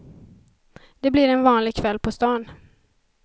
Det blir en vanlig kväll på stan.